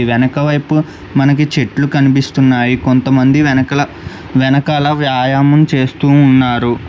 వెనక వైపు మనకి చెట్లు కనిపిస్తున్నాయి కొంతమంది వెనకల వెనకాల వ్యాయామం చేస్తూ ఉన్నారు.